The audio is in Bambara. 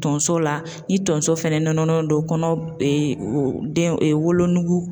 Tonso la, ni tonso fɛnɛ don kɔnɔ den wolonugu